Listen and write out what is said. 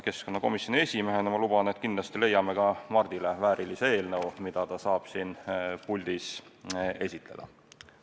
Keskkonnakomisjoni esimehena luban, et kindlasti leiame ka Mardile väärilise eelnõu, mida ta saab siin puldis esitleda.